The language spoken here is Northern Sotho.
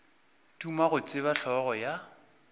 duma go tseba hlogo ya